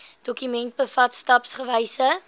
dokument bevat stapsgewyse